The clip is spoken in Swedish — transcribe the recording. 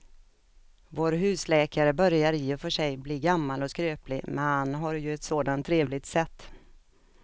Vår husläkare börjar i och för sig bli gammal och skröplig, men han har ju ett sådant trevligt sätt!